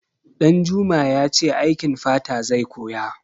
Ɗanjuma ya ce aikin fata zai koya.